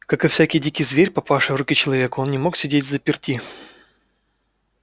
как и всякий дикий зверь попавший в руки к человеку он не мог сидеть взаперти